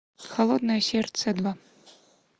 холодное сердце два